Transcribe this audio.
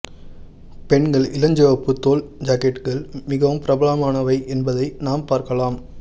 பெண்கள் இளஞ்சிவப்பு தோல் ஜாக்கெட்டுகள் மிகவும் பிரபலமானவை என்பதை நாம் பார்க்கலாம்